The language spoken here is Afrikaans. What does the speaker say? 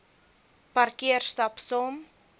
parkeer stap saam